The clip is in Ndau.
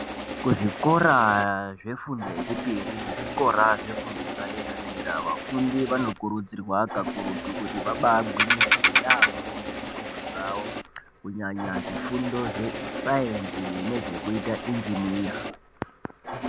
Kuzvikora zvefundo yechipiri nezvikora zvefundo yepadera dera vafundi vanokurudzirwa kakurutu kuti vabagwinyisire yambo ngezvifundo zvawo kunyanya zvifundo zvesainzi nezvekuita injiniya.